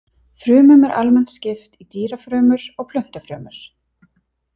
Frumum er almennt skipt í dýrafrumur og plöntufrumur.